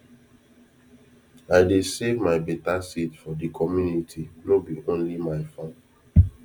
i dey save my better seed for de community nor be only my farm